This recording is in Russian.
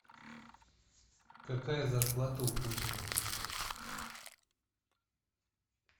какая зарплата у путина